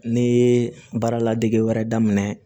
Ne ye baara ladege wɛrɛ daminɛ